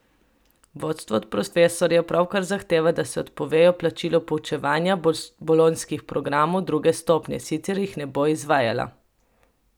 Vodstvo od profesorjev pravkar zahteva, da se odpovejo plačilu poučevanja bolonjskih programov druge stopnje, sicer jih ne bo izvajala.